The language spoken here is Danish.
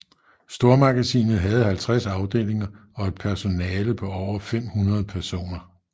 Stormagasinet havde 50 afdelinger og et personale på over 500 personer